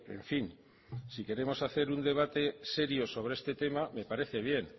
en fin si queremos hacer un debate serio sobre este tema me parece bien